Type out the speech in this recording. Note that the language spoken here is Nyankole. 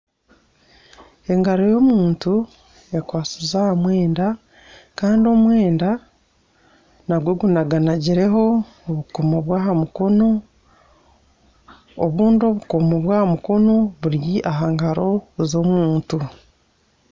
Engaro y'omuntu ekwasire aha mwenda kandi omwenda nagwo gunaganagireho obukomo bw'aha mukono, obundi obukomo bw'aha mukono buri aha ngaro z'omuntu